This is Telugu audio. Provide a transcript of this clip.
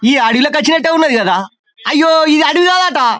ఈ అడవిలోకి వచ్చినట్లు ఉన్నది కదా అయ్యో ఇది అడవి కాదట --